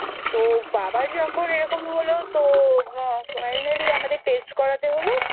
তো বাবার যখন এরকম হলো তো finally আমাদের Test করাতে হলো।